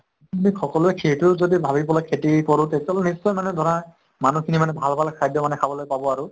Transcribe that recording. সকলোয়ে সেইটো যদি ভাবি পেলাই খেতি কৰো তেতিয়াহলে নিশ্চয় মানে ধৰা মানুহ খিনি মানে ভাল ভাল খাদ্য় মানে খাবলৈ পাব আৰু।